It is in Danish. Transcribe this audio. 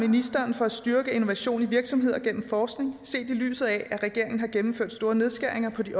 ministeren for at styrke innovation i virksomheder gennem forskning set i lyset af at regeringen har gennemført store nedskæringer på de